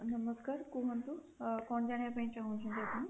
ନମସ୍କାର, କୁହନ୍ତୁ ଆଁ କଣ ଜାଣିବାକୁ ଚାହୁଁଛନ୍ତି ଆପଣ?